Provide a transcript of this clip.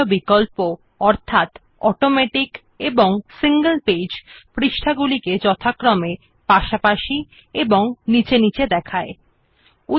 it has options like automatic and single page for displaying pages side by side and beneath each other respectively